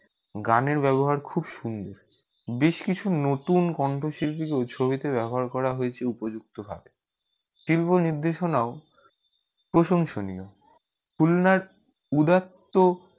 গানের ব্যবহার খুব সুন্দর বেশি কিছু নতুন কন্ঠ শিল্পীকে ছবি তে ব্যবহার করা হয়েছে উপযুক্ত ভাব ট্রিগ নির্দেশনাও প্রশংসনীয় পুলনাক উদারতা